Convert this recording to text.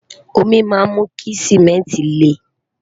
omi má mú kí simẹnti le